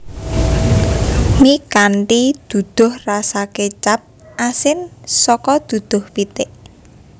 Mi kanthi duduh rasa kecap asin saka duduh pitik